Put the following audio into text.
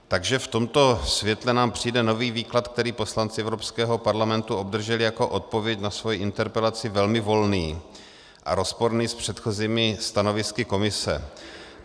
Takže v tomto světle nám přijde nový výklad, který poslanci Evropského parlamentu obdrželi jako odpověď na svoji interpelaci, velmi volný a rozporný s předchozími stanovisky Komise.